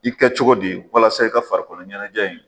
I bɛ ka cogo di , walasa i ka farikolo ɲɛnajɛ in.